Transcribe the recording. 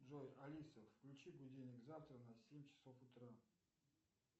джой алиса включи будильник завтра на семь часов утра